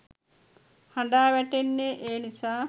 හඬා වැටෙන්නේ ඒ නිසා.